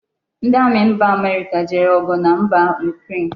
Ndi Ami mba America jere ogu na mba Ukraine